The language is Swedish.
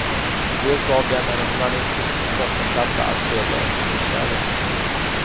Det gav dem en humanistisk bottenplatta att spegla efterkrigsvärlden med.